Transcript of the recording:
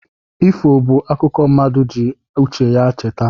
Ifo bụ akụkọ mmadụ ji uche ya cheta